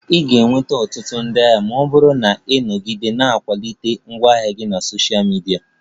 I ga-enweta ọtụtụ ndị ahịa ma ọ bụrụ na ị nọgide na-akwalite ngwaahịa gị na Sosha midia